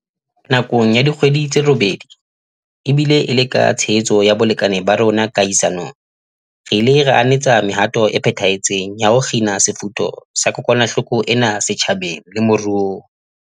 Nakong ya dikgwedi tse robedi, ebile e le ka tshehetso ya balekane ba rona kahisa nong, re ile ra anetsa mehato e phethahetseng ya ho kgina sefutho sa kokwanahloko ena setjhabeng le moruong.